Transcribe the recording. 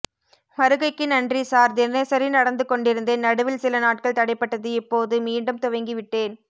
வருகைக்கு நன்றி சார் தினசரி நடந்து கொண்டிருந்தேன் நடுவில் சில நாட்கள் தடைபட்டதுஇப்போதுமீண்டும் துவங்கி விட்டேன்